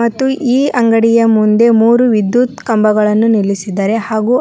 ಮತ್ತು ಈ ಅಂಗಡಿಯ ಮುಂದೆ ಮೂರು ವಿದ್ಯುತ್ ಕಂಬಗಳನ್ನು ನಿಲ್ಲಿಸಿದ್ದಾರೆ ಹಾಗು